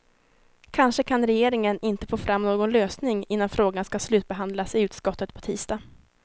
Kanske kan regeringen inte få fram någon lösning innan frågan ska slutbehandlas i utskottet på tisdag.